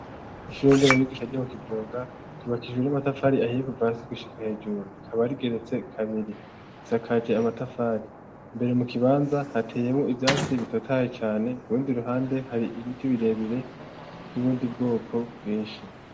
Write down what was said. Ishurnderabigisha ryo mu kigoga ryubakijwe n'amatafari ahiye kuva si gushika hejuru rikaba rigeretse kabiri risakaje amatafari mbere mu kibanza hateyemo ivyatsi bitotaye cane kubundi ruhande hari ibiti birebire vy'ubundi bwoko bwinshi.